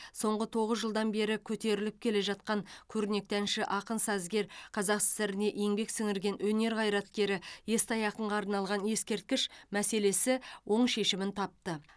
соңғы тоғыз жылдан бері көтеріліп келе жатқан көрнекті әнші ақын сазгер қазсср ға еңбек сіңірген өнер қайраткері естай ақынға арналған ескерткіш мәселесі оң шешімін тапты